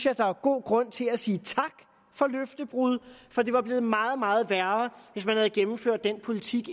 at der er god grund til at sige tak for løftebruddet for det var blevet meget meget værre hvis man havde gennemført den politik